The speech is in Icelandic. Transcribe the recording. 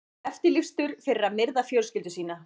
Eftirlýstur fyrir að myrða fjölskyldu sína